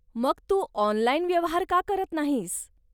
मग तू ऑनलाइन व्यवहार का करत नाहीस?